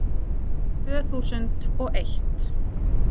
Tvö þúsund og eitt